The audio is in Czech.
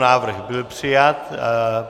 Návrh byl přijat.